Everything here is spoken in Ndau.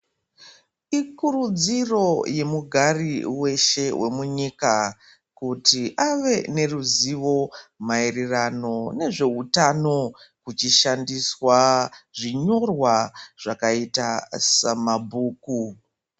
Ikurudziro yemugari weshe wemunyika kuti ave neruzivo maererano nezveutano kuchishandiswa zvinyorwa zvakaita samabhuku.